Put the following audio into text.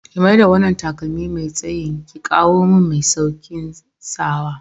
Ki mai da wanna takalmi Mai tsayin ki kawumin mai saukin sawa.